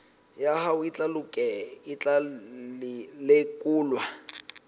ya hao e tla lekolwa